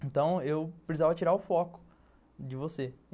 Então, eu precisava tirar o foco de você.